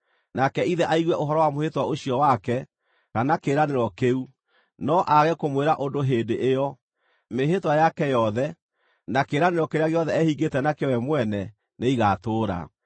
nake ithe aigue ũhoro wa mwĩhĩtwa ũcio wake, kana kĩĩranĩro kĩu, no aage kũmwĩra ũndũ hĩndĩ ĩyo, mĩĩhĩtwa yake yothe, na kĩĩranĩro kĩrĩa gĩothe ehingĩte nakĩo we mwene, nĩigatũũra.